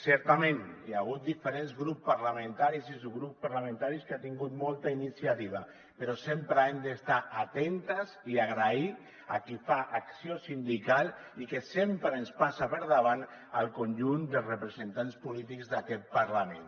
certament hi ha hagut diferents grups parlamentaris i subgrups parlamentaris que han tingut molta iniciativa però sempre hem d’estar atentes i agrair a qui fa acció sindical i que sempre ens passa per davant al conjunt dels representants polítics d’aquest parlament